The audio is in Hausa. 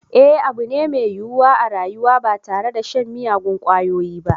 Eh abu ne mai yiwuwa a rayuwa ba tare da shan miyagun kwayoyi ba